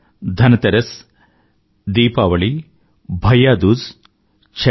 Dhan Teras Deepavali Bhaiya Dooj Chhath